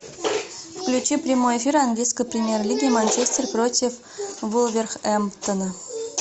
включи прямой эфир английской премьер лиги манчестер против вулверхэмптона